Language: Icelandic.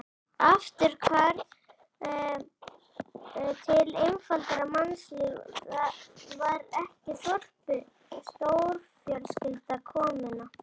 Afturhvarf til einfaldara mannlífs, var ekki þorpið stórfjölskylda, kommúna?